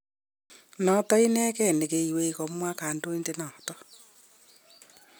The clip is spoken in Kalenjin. Noto inegei ne keywei, komwa kandondenoto